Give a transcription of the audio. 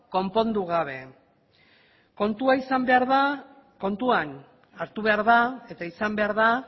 konpondu gabe kontuan hartu behar da eta izan behar da